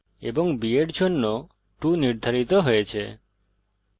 b এর জন্য 2 নির্ধারিত হয়েছে